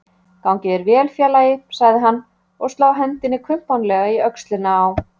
Gangi þér vel félagi, sagði hann og sló hendinni kumpánlega í öxlina á